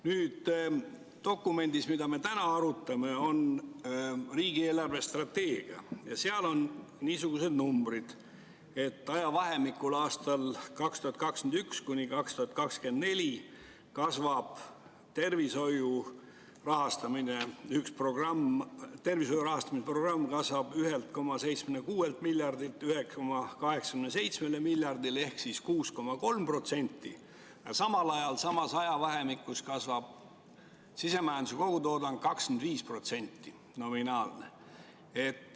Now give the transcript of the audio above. Nüüd, dokument, mida me täna arutame, on riigi eelarvestrateegia ja selles on niisugused numbrid: ajavahemikul 2021–2024 kasvab tervishoiu rahastamise programm 1,76 miljardilt 1,87 miljardile ehk 6,3%, aga samal ajal samas ajavahemikus kasvab nominaalne sisemajanduse kogutoodang 25%.